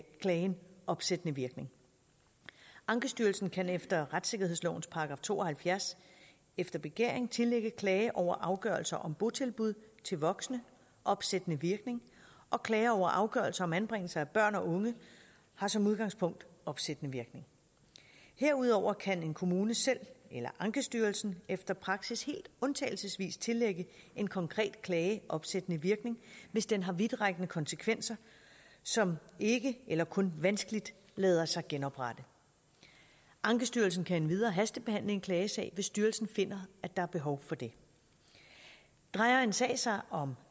klagen opsættende virkning ankestyrelsen kan efter retssikkerhedslovens § to og halvfjerds efter begæring tillægge en klage over afgørelser om botilbud til voksne opsættende virkning og klager over afgørelser om anbringelse af børn og unge har som udgangspunkt opsættende virkning herudover kan en kommune selv eller ankestyrelsen efter praksis helt undtagelsesvis tillægge en konkret klage opsættende virkning hvis den har vidtrækkende konsekvenser som ikke eller kun vanskeligt lader sig genoprette ankestyrelsen kan endvidere hastebehandle en klagesag hvis styrelsen finder at der er behov for det drejer en sag sig om